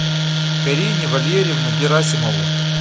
карине валерьевну герасимову